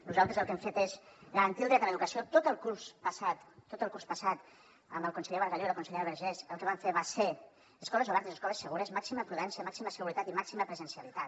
nosaltres el que hem fet és garantir el dret a l’educació tot el curs passat amb el conseller bargalló i la consellera vergés el que vam fer va ser escoles obertes escoles segures màxima prudència màxima seguretat i màxima presencialitat